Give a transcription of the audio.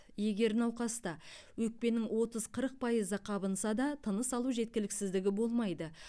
егер науқаста өкпенің отыз қырық пайызы қабынса да тыныс алу жеткіліксіздігі болмайды